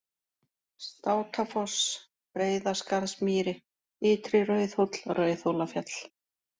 Státafoss, Breiðaskarðsmýri, Ytri-Rauðhóll, Rauðhólafjall